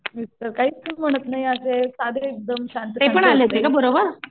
mister काहीच म्हणत नाही माझे सांधे एकदम शांत